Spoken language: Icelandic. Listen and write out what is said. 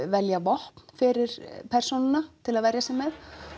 velja vopn fyrir persónuna til að verja sig með